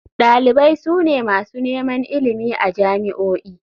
Dalibai su ne masu neman ilimi a jami'o'i.